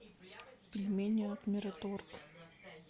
пельмени от мираторг